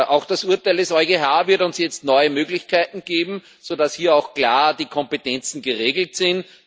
Auch das Urteil des EuGH wird uns jetzt neue Möglichkeiten geben, so dass hier auch klar die Kompetenzen geregelt sind.